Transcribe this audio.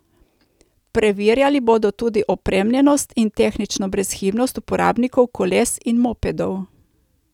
Preverjali bodo tudi opremljenost in tehnično brezhibnost uporabnikov koles in mopedov.